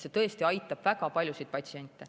See tõesti aitab väga paljusid patsiente.